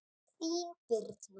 Þín Birna.